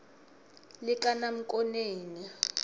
likanamkoneni